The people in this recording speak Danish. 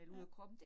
Ja